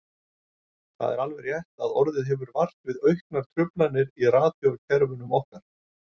Það er alveg rétt að orðið hefur vart við auknar truflanir í radíókerfunum okkar.